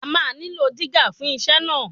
A máa nílò dígà fún iṣẹ́ náà.